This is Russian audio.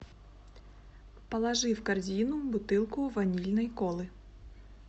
положи в корзину бутылку ванильной колы